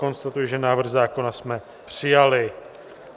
Konstatuji, že návrh zákona jsme přijali.